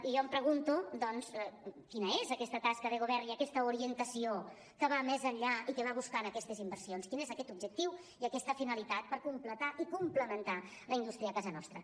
i jo em pregunto doncs quina és aquesta tasca de govern i aquesta orientació que va més enllà i que va buscant aquestes inversions quin és aquest objectiu i aquesta finalitat per completar i complementar la indústria a casa nostra